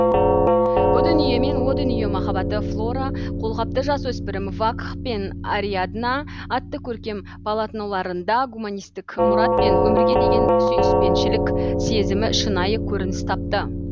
бұ дүние мен о дүние махаббаты флора қолғапты жасөспірім вакх пен ариадна атты көркем полотноларында гуманистік мұрат пен өмірге деген сүйіспеншілік сезімі шынайы көрініс тапты